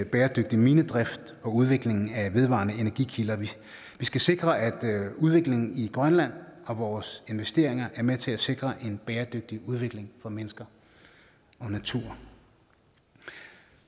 bæredygtig minedrift og udvikling af vedvarende energikilder vi skal sikre at udviklingen i grønland og vores investeringer er med til at sikre en bæredygtig udvikling for mennesker og natur